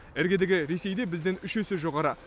іргедегі ресейде бізден үш есе жоғары